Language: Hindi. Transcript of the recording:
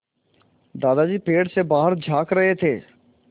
दादाजी पेड़ से बाहर झाँक रहे थे